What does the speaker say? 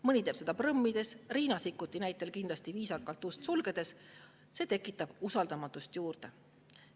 Mõni teeb seda prõmmides, Riina Sikkut sulgeb seda ust küll kindlasti viisakalt, kuid see tekitab usaldamatust juurde.